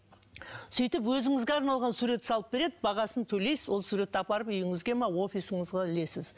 сөйтіп өзіңізге арналған сурет салып береді бағасын төлейсіз ол суретті апарып үйіңізге ме офисіңізге ілесіз